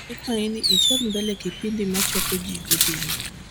ikwai ni ichor mbele kipindi ma chapo ji godhiambo